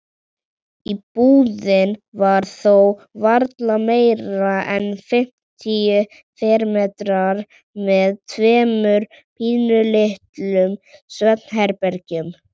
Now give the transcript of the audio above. Íbúðin var þó varla meira en fimmtíu fermetrar með tveimur pínulitlum svefnherbergjum.